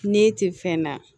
Ne tɛ fɛn na